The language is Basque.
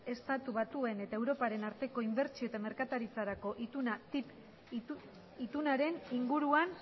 estatu batuen eta europaren arteko inbertsio eta merkataritzarako ituna ttip itunaren inguruan